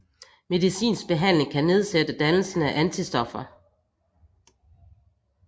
Medicinsk behandling kan nedsætte dannelsen af antistoffer